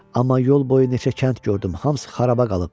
Amma yol boyu neçə kənd gördüm, hamısı xarabaya qalıb.